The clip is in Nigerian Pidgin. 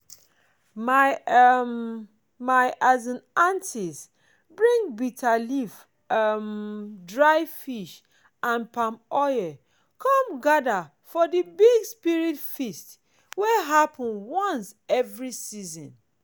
my um my um aunties bring bitter leaf um dried fish and palm oil come gather for the big spirit feast wey happen once every season.